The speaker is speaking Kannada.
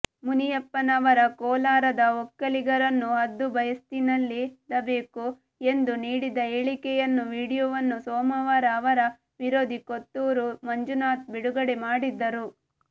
ಮುನಿಯಪ್ಪನವರ ಕೋಲಾರದ ಒಕ್ಕಲಿಗರನ್ನು ಹದ್ದುಬಸ್ತಿನಲ್ಲಿಡಬೇಕು ಎಂದು ನೀಡಿದ್ದ ಹೇಳಿಕೆಯನ್ನು ವಿಡಿಯೋವನ್ನು ಸೋಮವಾರ ಅವರ ವಿರೋಧಿ ಕೊತ್ತೂರು ಮಂಜುನಾಥ್ ಬಿಡುಗಡೆ ಮಾಡಿದ್ದರು